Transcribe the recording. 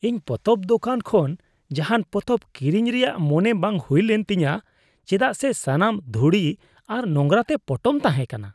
ᱤᱧ ᱯᱚᱛᱚᱵ ᱫᱳᱠᱟᱱ ᱠᱷᱚᱱ ᱡᱟᱦᱟᱱ ᱯᱚᱛᱚᱵ ᱠᱤᱨᱤᱧ ᱨᱮᱭᱟᱜ ᱢᱚᱱᱮ ᱵᱟᱝ ᱦᱩᱭ ᱞᱮᱱ ᱛᱤᱧᱟᱹ ᱪᱮᱫᱟᱜ ᱥᱮ ᱥᱟᱱᱟᱢ ᱫᱷᱩᱲᱤ ᱟᱨ ᱱᱳᱝᱨᱟ ᱛᱮ ᱯᱚᱴᱚᱢ ᱛᱟᱦᱮᱸᱠᱟᱱᱟ ᱾